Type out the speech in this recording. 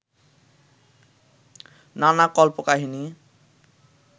নানা কল্পকাহিনী